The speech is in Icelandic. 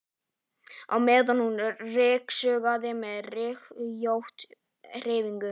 á meðan hún ryksugaði með rykkjóttum hreyfingum.